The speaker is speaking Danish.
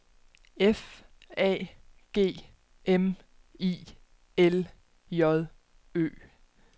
F A G M I L J Ø